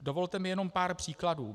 Dovolte mi jenom pár příkladů.